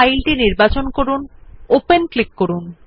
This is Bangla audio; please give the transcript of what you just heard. ফাইলটি নির্বাচন করুন সেটিতে ক্লিক করুন